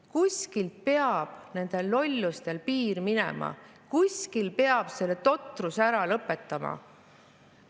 Kuskil peab nende lolluste piir minema, kuskil peab selle totruse ära lõpetama!